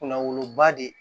Kunna woloba de